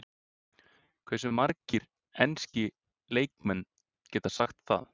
Hversu margir enski leikmenn geta sagt það?